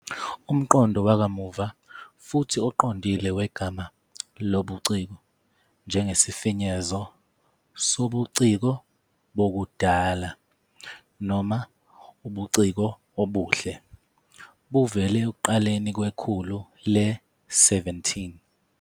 Umqondo wakamuva futhi oqondile wegama "lobuciko" njengesifinyezo "sobuciko bokudala" noma "ubuciko obuhle" buvele ekuqaleni kwekhulu le-17.